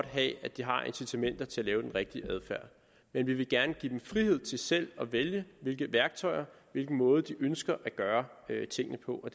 have at de har incitamenterne til at udvise en rigtig adfærd men vi vil gerne give dem frihed til selv at vælge værktøjerne hvilken måde de ønsker at gøre tingene på og